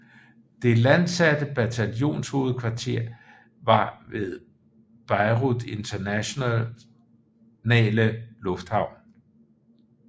Det landsatte bataljonshovedkvarter var ved Beirut Internationale Lufthavn